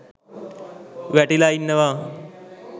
වැටිලා ඉන්නවා